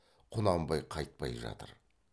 құнанбай қайтпай жатыр